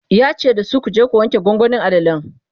yace dasu"kuje ku wanke gwangwanin alalan!"